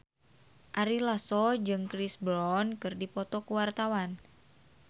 Ari Lasso jeung Chris Brown keur dipoto ku wartawan